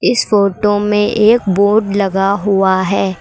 इस फोटो में एक बोर्ड लगा हुआ है।